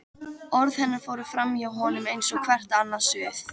Orð hennar fóru framhjá honum eins og hvert annað suð.